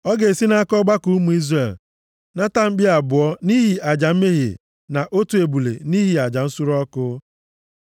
Ọ ga-esi nʼaka ọgbakọ ụmụ Izrel nata mkpi abụọ nʼihi aja mmehie, na otu ebule nʼihi aja nsure ọkụ.